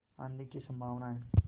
आँधी की संभावना है